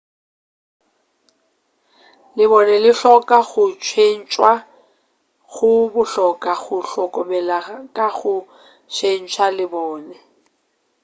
lebone le hloka go tšhentšwa go bohlokwa go hlokomela ka go tšhentša lebone